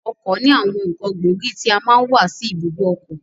Ọkọ̀ ní àwọn ǹkan gbóògì tí a máa n wà sí ibùdó ọkọ̀.